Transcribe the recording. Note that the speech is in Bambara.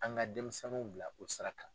An ka denmisɛnninw bila o sara .